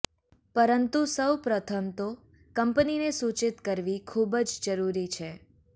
પરંતુ સૌ પ્રથમ તો કંપનીને સૂચિત કરવી ખૂબજ જરૂરી છે